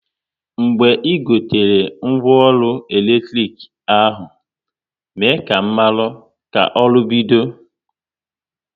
Mgbe ị gotere ngwa ọrụ eletrik ahụ, mee ka m maru ka ọrụ bido